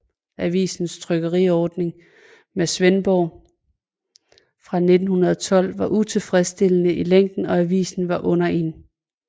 Avisens trykkeriordning med Svendborg fra 1912 var utilfredsstillende i længen og avisen var under 1